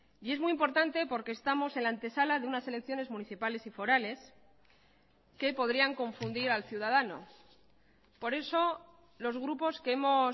y es muy importante porque estamos en la antesala de unas elecciones municipales y forales que podrían confundir al ciudadano por eso los grupos que hemos